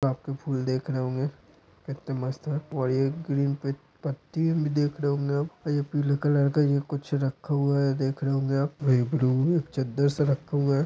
गुलाब के फूल देख रहे होंगे कते मस्त है और ये ग्रीन पत्ती भी देख रहे होंगै और पीले कलर का जो कुछ रखे होंगे देख रहे होंगे आप और ब्लू एक चद्दर सा रखा है।